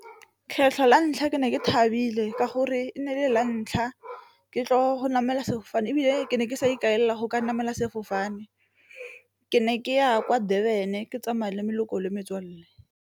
Kgetlho la ntlha ke ne ke thabile ka gore e nne le la ntlha ke tlo go namela sefofane, ebile ke ne ke sa ikaelela go ka namela sefofane ke ne ke ya kwa Durban ke tsamaya le le metswalle.